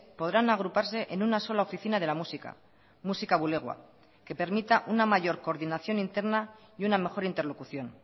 podrán agruparse en una sola oficina de la música musika bulegoa que permita una mayor coordinación interna y una mejor interlocución